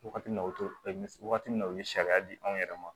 Wagati min na o wagati min na u ye sariya di anw yɛrɛ ma